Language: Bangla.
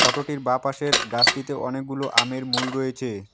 ফটোটির বাঁপাশের গাছটিতে অনেকগুলো আমের মূল রয়েছে।